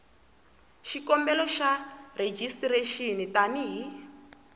xikombelo xa rejistrexini tani hi